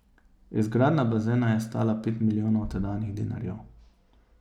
Izgradnja bazena je stala pet milijonov tedanjih dinarjev.